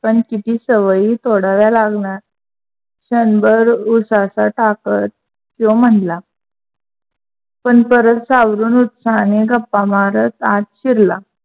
पण तिची सवयी तोडाव्या लागणार. क्षणभर उसाचा ताकत त्यो म्हणला. पण परत सावरून उठला आणि गप्पा मारत आत शिरला.